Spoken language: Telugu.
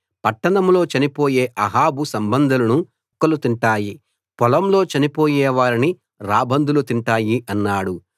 పట్టణంలో చనిపోయే అహాబు సంబంధులను కుక్కలు తింటాయి పొలంలో చనిపోయేవారిని రాబందులు తింటాయి అన్నాడు